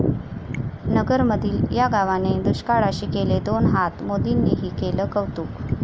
नगरमधील 'या' गावाने दुष्काळाशी केले दोन हात, मोदींनीही केलं कौतुक